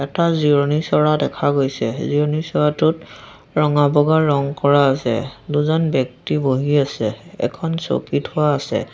এটা জিৰণি চ'ৰা দেখা গৈছে জিৰণি চ'ৰাটোত ৰঙা বগা ৰং কৰা আছে দুজন ব্যক্তি বহি আছে এখন চকী থোৱা আছে।